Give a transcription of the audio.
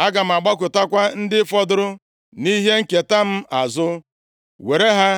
Aga m agbakụtakwa ndị fọdụrụ nʼihe nketa m azụ, were ha